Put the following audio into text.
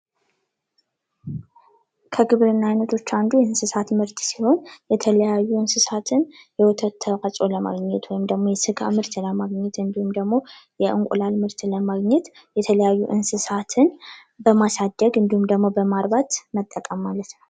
ከግብርና አይነቶች አንዱ የእንስሳት ምርት ሲሆኑ የተለያዩ እንስሳትን የወተት ተዋህጾ ለማግኘት ወይም ደሞ የስጋ ምርት ለማግኘት እንዲሁም ደግሞ የእንቁላለ ምርትን ለማግኘት የተለያዩ እንስሳትን በማሳደግ እንዲሁም ደግሞ በማርባት መጠቀም ማለት ነው።